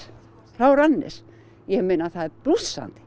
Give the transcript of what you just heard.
frá Randers það er blússandi